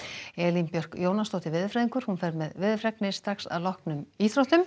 Elín Björk Jónasdóttir veðurfræðingur fer með veðurfregnir að loknum íþróttum